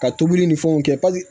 Ka tobili ni fɛnw kɛ